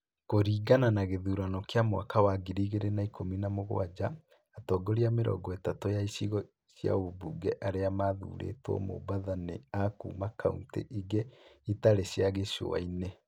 Kũringana na gĩthurano kĩa mwaka wa ngiri igĩrĩ na ikũmi na mũgwanja, atongoria mĩrongo ĩthatu ya igico cia ũmbunge arĩa mathurĩtwo Mombatha nĩ a kuuma kauntĩ ĩngĩ ĩtarĩ cia gĩcũa-inĩ.